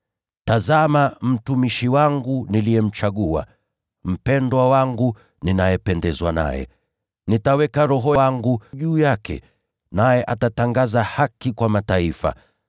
“Tazama mtumishi wangu niliyemchagua, mpendwa wangu, ninayependezwa naye. Nitaweka Roho wangu juu yake, naye atatangaza haki kwa mataifa.